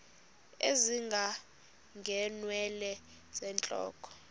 ezinga ngeenwele zentloko